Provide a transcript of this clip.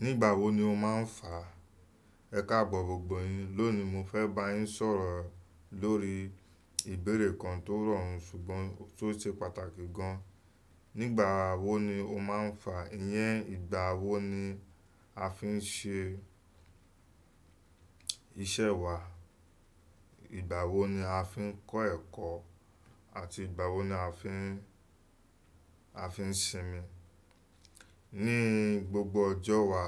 Nígbà wo ni o máa ń fà? Ẹ̀ka bọ̀ gbogbo yín lónìí mo fẹ́ bá yín sọ̀rọ̀ lórí ìbéèrè kan tó rọrùn ṣùgbọ́n tó ṣe pàtàkì gan. Nígbà wo ni o máa ń fà? Iyẹn ìgbà wo ni a fi ń ṣe iṣẹ́ wa? Ìgbà wo ni a fi ń kọ́ ẹ̀kọ́ àti ìgbà wo ni a fi ń, a fi ń sinmi? Ní gbogbo ọjọ́ wa,